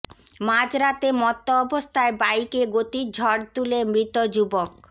মাঝরাতে মত্ত অবস্থায় বাইকে গতির ঝড় তুলে মৃত যুবক